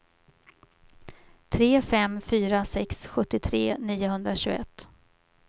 tre fem fyra sex sjuttiotre niohundratjugoett